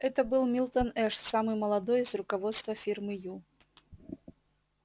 это был милтон эш самый молодой из руководства фирмы ю